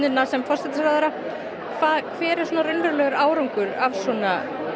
sem forsætisráðherra hver er raunverulegur árangur af svona